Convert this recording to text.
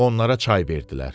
Onlara çay verdilər.